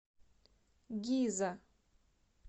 гиза